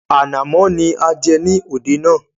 Ànàmọ́ ni a jẹ ní òde náà